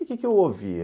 E o quê que eu ouvia?